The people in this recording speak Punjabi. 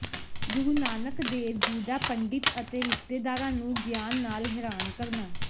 ਗੁਰੂ ਨਾਨਕ ਦੇਵ ਜੀ ਦਾ ਪੰਡਿਤ ਅਤੇ ਰਿਸ਼ਤੇਦਾਰਾਂ ਨੂੰ ਗਿਆਨ ਨਾਲ ਹੈਰਾਨ ਕਰਨਾ